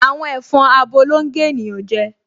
Àwọn ẹ̀fọn abo ló ń gé ènìyàn jẹ